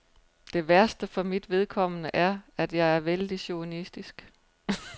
Det værste for mit vedkommende er, at jeg er vældig chauvinistisk.